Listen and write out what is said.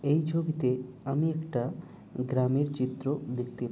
এই ছবিতে আমি একটা গ্রামের চিত্র দেখতে পাচ্ছি।